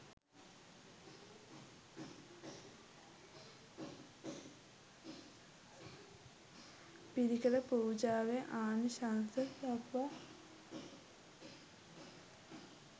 පිරිකර පූජාවේ ආනිශංස දක්වා